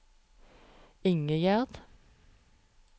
Ingegerd